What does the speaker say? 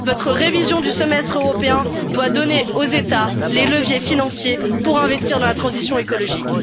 Votre révision du semestre européen doit donner aux États les leviers financiers pour investir dans la transition écologique.